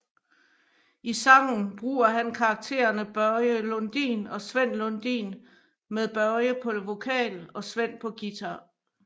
I sangen bruger han karaktererne Börje Lundin og Sven Lundin med Börje på vokal og Sven på guitar